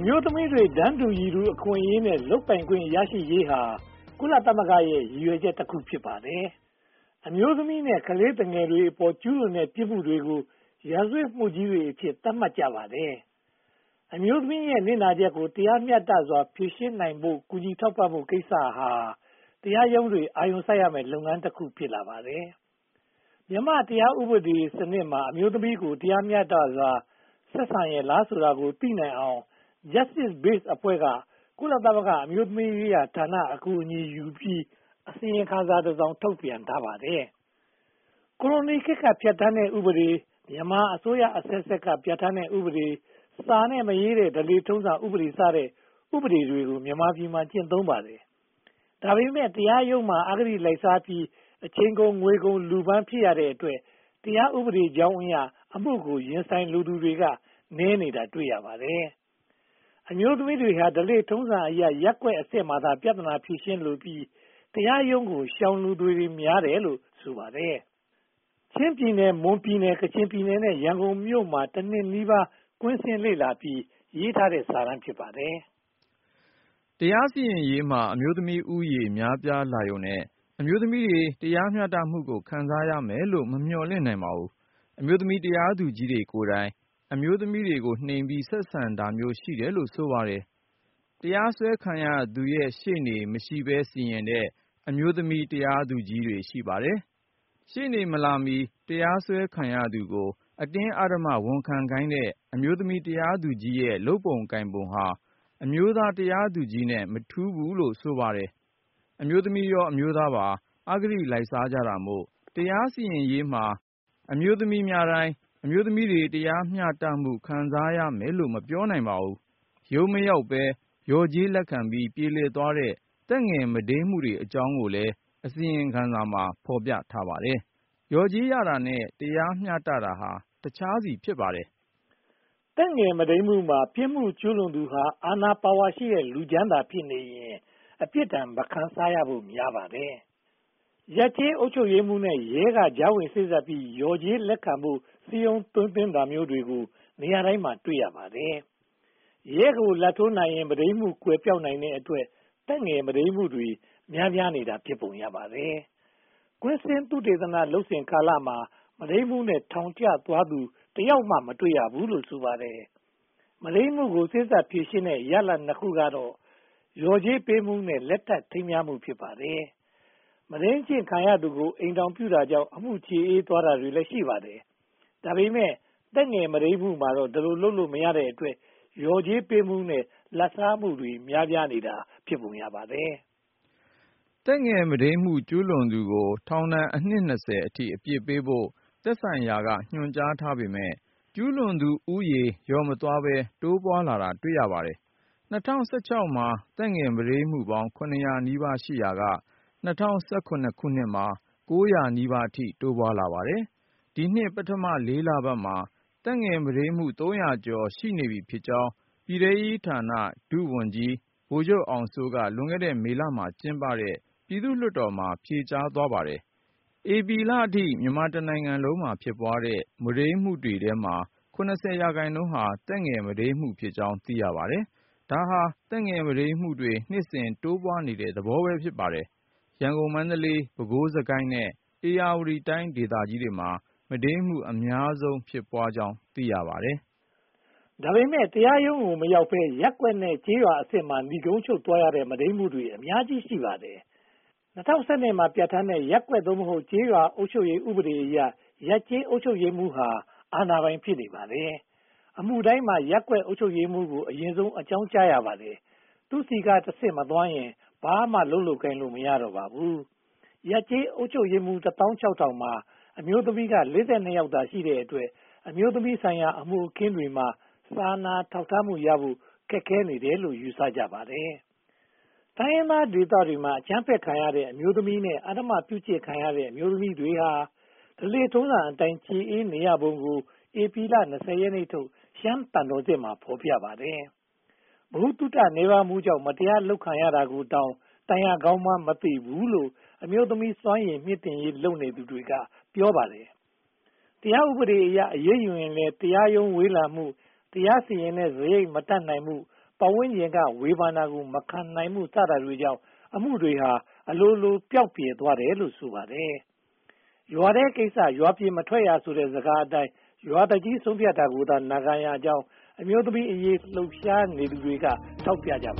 ျိုးသမီးတွေ တန်းတူအခွင့်အရေးနဲ့ လုပ်ပိုင်ခွင့်ရရှိရေးဟာ - ကုလသမဂ္ဂရဲ့ ရည်ရွယ်ချက်တခု ဖြစ်ပါတယ်။ အမျိုးသမီးနဲ့ ခလေးငယ်တွေအပေါ် ကျူးလွန်တဲ့ပြစ်မှုတွေကို ရာဇဝတ်မှုကြီးတွေအဖြစ် သတ်မှတ်ကြပါတယ်။ အမျိုးသမီးနစ်နာချက်ကို တရားမျှတစွာ ဖြေရှင်းနိုင်ဖို့နဲ့ ကူညီထောက်ပံ့ဖို့ကိစ္စဟာ တရားရုံးတွေ အာရုံစိုက်ရမယ့် လုပ်ငန်းတခု ဖြစ်လာပါတယ်။ မြန်မာ့တရားဥပဒေစနစ်မှာ အမျိုးသမီးကို တရားမျှတစွာ ဆက်ဆံရဲလားဆိုတာကို သိနိုင်အောင် Justice Base အဖွဲ့က ကုလသမဂ္ဂ အမျိုးသမီးရေးရာဌာနရဲ့ အကူအညီရယူပြီး အစီရင်ခံစာတစောင် ထုတ်ပြန်ထားပါတယ်။ ကိုလိုနီခေတ်က ပြဌာန်းတဲ့ဥပဒေ၊ မြန်မာအစိုးရအဆက်ဆက်က ပြဌာန်းတဲ့ဥပဒေ၊ စာနဲ့မရေးတဲ့ ဓလေ့ထုံးစံဥပဒေ စတဲ့ ဥပဒေတွေကို မြန်မာပြည်မှာ ကျင့်သုံးပါတယ်။ ဒါပေမဲ့ တရားရုံးမှာ အဂတိလိုက်စားမှုများပြီး အချိန်ကုန်၊ ငွေကုန်၊ လူပင်ပန်း ဖြစ်ရတဲ့အတွက် တရားဥပဒေကြောင်းအရ အမှုကို ရင်ဆိုင်လိုသူ နည်းတာတွေ့ရပါတယ်။ အမျိုးသမီးတွေဟာ ဓလေ့ထုံးစံနည်းအရ ရပ်ကွက်အဆင့်မှာသာ ပြဿနာဖြေရှင်းလိုပြီး တရားရုံးကို ရှောင်လိုသူတွေ များပါတယ်လို့ ဆိုပါတယ်။ ချင်းပြည်နယ်၊ မွန်ပြည်နယ်၊ ကချင်ပြည်နယ်နဲ့ ရန်ကုန်မြို့မှာ တနှစ်နီးပါး ကွင်းဆင်းလေ့လာပြီး ရေးထားတဲ့စာတမ်း ဖြစ်ပါတယ်။ တရားစီရင်ရေးမှာ အမျိုးသမီးဦးရေများပြားလာရုံနဲ့ အမျိုးသမီးတွေ တရားမျှတမှုကို ခံစားရမယ်လို့ မမျှော်လင့်နိုင်ပါဘူး။ အမျိုးသမီးတရားသူကြီးတွေကိုယ်တိုင် အမျိုးသမီးကိုနှိမ့်ပြီး ဆက်ဆံတာမျိုးရှိတယ်လို့ ဆိုပါတယ်။ တရားစွဲခံရသူရှေ့နေ မရှိဘဲ စီရင်တဲ့ အမျိုးသမီးတရားသူကြီးတွေ ရှိပါတယ်။ ရှေ့နေမလာမီ တရားစွဲခံရသူကို အတင်းအဓမ္မဝန်ခံခိုင်းတဲ့ အမျိုးသမီးတရားသူကြီးရဲ့ လုပ်ပုံကိုင်ပုံဟာ အမျိုးသားတရားသူကြီးနဲ့ မထူးဘူးလို့ ဆိုပါတယ်။ အမျိုးသမီးရော၊ အမျိုးသားရော အဂတိလိုက်စားကြတာမို့ တရားစီရင်ရေးမှာ အမျိုးသမီးများတိုင်း အမျိုးသမီးတွေ တရားမျှတမှု ခံစားရမယ်လို့ မပြောနိုင်ပါဘူး။ ရုံးမရောက်ဘဲ လျှော်ကြေးလက်ခံပြီး ပြေလည်သွားတဲ့ သက်ငယ်မုဒိမ်းမှုတွေအကြောင်းကိုလည်း အစီရင်ခံစာမှာ ဖော်ပြထားပါတယ်။ လျော်ကြေးရတာနဲ့ တရားမျှတတာဟာ တခြားစီ ဖြစ်ပါတယ်။ သက်ငယ်မုဒိမ်းမှုမှာ ပြစ်မှုကျူးလွန်သူဟာ အာဏာပါဝါရှိတဲ့ လူချမ်းသာဖြစ်နေရင် အပြစ်ဒဏ်မခံစားရဖို့ များပါတယ်။ ရပ်ကျေးအုပ်ချုပ်ရေးမှုးနဲ့ ရဲက ကြားဝင်စေ့စပ်ပြီး လျော်ကြေးလက်ခံဖို့ စည်းရုံးသိမ်းသွင်းတာမျိုးတွေ နေရာတိုင်းမှာ တွေ့ရပါတယ်။ ရဲကိုလာဘ်ထိုးနိုင်ရင် မုဒိမ်းမှုကွယ်ပျောက်နိုင်တဲ့အတွက် သက်ငယ်မုဒိမ်းမှုတွေ များပြားနေတာ ဖြစ်ပုံရပါတယ်။ ကွင်းဆင်းသုတေသနလုပ်စဉ်ကာလမှာ မုဒိမ်းမှုနဲ့ ထောင်ကျသွားသူ တယောက်မှ မတွေ့ရဘူးလို့ ဆိုပါတယ်။ မုဒိမ်းမှုကို စေ့စပ်ဖြေရှင်းတဲ့ ရလဒ် (၂) ခုကတော့ လျော်ကြေးပေးမှုနဲ့ လက်ထပ်ထိမ်းမြားမှု ဖြစ်ပါတယ်။ မုဒိမ်းကျင့်ခံသူကို အိမ်ထောင်ပြုပေးတာကြောင့် အမှုကျေအေးသွားတာတွေလည်း ရှိပါတယ်။ ဒါပေမဲ့ သက်ငယ်မုဒိမ်းမှုမှာတော့ ဒီလိုလုပ်လို့ မရတဲ့အတွက် လျော်ကြေးပေးမှုနဲ့ လာဘ်စားမှုတွေ များပြားနေတာ ဖြစ်ပုံရပါတယ်။ သက်ငယ်မုဒိမ်းမှု ကျူးလွန်သူကို ထောင်ဒဏ်အနှစ် (၂၀) အထိ အပြစ်ပေးဖို့ သက်ဆိုင်ရာဌာနက ညွှန်ကြားထားပေမယ့် ကျူးလွန်သူဦးရေ လျော့မသွားဘဲ တိုးပွားလာတာကို တွေ့ရပါတယ်။ ၂၀၁၆ မှာ သက်ငယ်မုဒိမ်းမှု (၇၀၀) နီးပါးရှိရာက ၂၀၁၇ မှာ (၉၀၀) နီးပါးအထိ တိုးပွားလာပါတယ်။ ဒီနှစ် ပထမ (၄) လပတ်မှာ သက်ငယ်မုဒိမ်းမှု (၃၀၀) ကျော်နေပြီဖြစ်ကြောင်း ပြည်ထဲရေးဌာန ဒုဝန်ကြီး ဗိုလ်ချုပ်အောင်စိုးက လွန်ခဲ့တဲ့ မေလမှာကျင်းပတဲ့ ပြည်သူ့လွှတ်တော်မှာ ဖြေကြားသွားပါတယ်။ ဧပြီလအထိ မြန်မာတနိုင်ငံလုံးမှာ ဖြစ်ပွားတဲ့ မုဒိမ်းမှုတွေထဲမှာ (၇၀) ရာခိုင်နှုန်းဟာ သက်ငယ်မုဒိမ်းဖြစ်ကြောင်း သိရပါတယ်။ ဒါဟာ သက်ငယ်မုဒိမ်းမှုတွေ နှစ်စဉ်တိုးပွားနေတဲ့သဘော ဖြစ်ပါတယ်။ ရန်ကုန်၊ မန္တလေး၊ ပဲခူး၊ စစ်ကိုင်း နဲ့ ဧရာဝတီတိုင်း ဒေသကြီးတွေမှာ မုဒိမ်းမှု အများဆုံးဖြစ်ပွားကြောင်း သိရပါတယ်။ ဒါပေမဲ့ တရားရုံးကို မရောက်ဘဲ ရပ်ကွက်နဲ့ ကျေးရွာအဆင့်မှာ နိဂုံးချုပ်သွားရတဲ့ မုဒိမ်းမှုတွေ အများကြီးရှိပါတယ်။ ၂၀၁၂ မှာ ပြဌာန်းခဲ့တဲ့ ရပ်ကွက် (သို့မဟုတ်) ကျေးရွာအုပ်ချုပ်ရေးဥပဒေအရ ရပ်ကျေးအုပ်ချုပ်ရေးမှုးဟာ အာဏာပိုင် ဖြစ်နေပါတယ်။ အမှုတိုင်းမှာ ရပ်ကွက်အုပ်ချုပ်ရေးမှူးကို အရင်ဆုံး အကြောင်းကြားရပါတယ်။ သူ့ဆီကတဆင့် မသွားရင် ဘာမှလုပ်ကိုင်လို့ မရတော့ပါဘူး။ ရပ်ကျေးအုပ်ချုပ်ရေးမှူး (၁၆,၇၈၅) မှာ အမျိုးသမီးက (၄၂) ယောက်သာရှိတဲ့အတွက် အမျိုးသမီးဆိုင်ရာ အမှုအခင်းတွေမှာ စာနာထောက်ထားမှုရဖို့ ခက်ခဲတယ်လို့လည်း ယူဆကြပါတယ်။ တိုင်းရင်းသားဒေသတွေမှာ အကြမ်းဖက်ခံရတဲ့ အမျိုးသမီးနဲ့ အဓမ္မပြုကျင့်ခံရတဲ့ အမျိုးသမီးတွေဟာ ဓလေ့ထုံးစံအတိုင်း ကျေအေးနေရပုံကို ဧပြီလ (၂၀) ရက်နေ့ထုတ် ရှမ်းသံတော်ဆင့်မှာ ဖော်ပြထားပါတယ်။ ဗဟုသုတနည်းပါးမှုကြောင့် မတရားလုပ်ခံရတာကို တိုင်ရကောင်းမှန်းမသိဘူးလို့ အမျိုးသမီးစွမ်းရည် မြှင့်တင်ရေးလုပ်သူတွေက ပြောကြပါတယ်။ တရားဥပဒေအရ အရေးယူရင်လည်း တရားရုံး ဝေးလံမှု၊ တရားရင်ဆိုင်တဲ့ စရိတ်မတတ်နိုင်မှု၊ ပတ်ဝန်းကျင်က ဝေဖန်တာကို မခံနိုင်မှု စတာတွေကြောင့် အမှုတွေဟာ အလိုလို ပျောက်ပြယ်သွားတယ်လို့ ဆိုပါတယ်။ “ရွာထဲကကိစ္စ ရွာအပြင်မထွက်ရ” ဆိုတဲ့ စကားအတိုင်း ရွာသူကြီး ဆုံးဖြတ်တာကိုသာ နာခံနေရကြောင်း အမျိုးသမီးအရေး လှုပ်ရှားနေသူတွေက ထောက်ပြကြပ